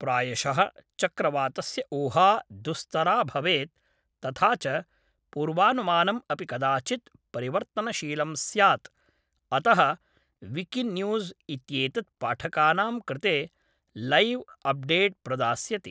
प्रायशः चक्रवातस्य ऊहा दुस्तरा भवेत् तथा च पूर्वानुमानम् अपि कदाचित् परिवर्तनशीलं स्यात्, अतः विकिन्यूज़् इत्येतत् पाठकानां कृते लैव् अप्डेट् प्रदास्यति।